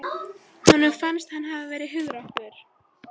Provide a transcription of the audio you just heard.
Honum fannst hann hafa verið hugrakkur.